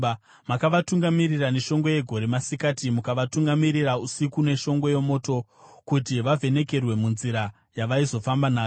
Makavatungamirira neshongwe yegore masikati mukavatungamirira usiku neshongwe yomoto kuti vavhenekerwe munzira yavaizofamba nayo.